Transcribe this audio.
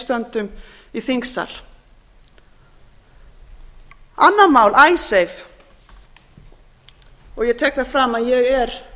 stöndum í þingsal annað mál icesave og ég tek það fram að ég er